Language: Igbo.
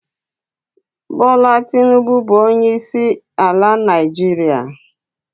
Bula Tinubu bụ onyeisiala Naịjirịa.